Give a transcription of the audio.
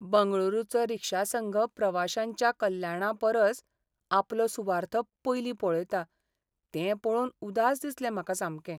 बंगळुरूचो रिक्षा संघ प्रवाशांच्या कल्याणा परस आपलो सुवार्थ पयलीं पळयता तें पळोवन उदास दिसलें म्हाका सामकें.